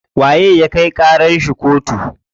Waye ya kai ƙarar shi kotu?